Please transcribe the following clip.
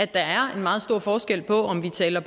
der er en meget stor forskel på om vi taler